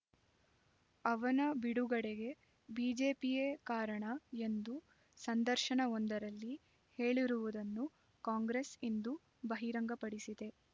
ಅವನ ಬಿಡುಗಡೆಗೆ ಬಿಜೆಪಿಯೇ ಕಾರಣ ಎಂದು ಸಂದರ್ಶನವೊಂದರಲ್ಲಿ ಹೇಳಿರುವುದನ್ನು ಕಾಂಗ್ರೆಸ್ ಇಂದು ಬಹಿರಂಗಪಡಿಸಿದೆ